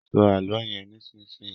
Sọ àlọ yén nísìsiyìí!